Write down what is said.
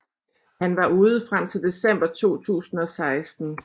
Han var ude frem til december 2016